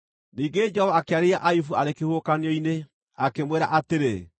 Ningĩ Jehova akĩarĩria Ayubu arĩ kĩhuhũkanio-inĩ, akĩmwĩra atĩrĩ: